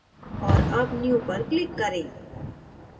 और अब new पर click करें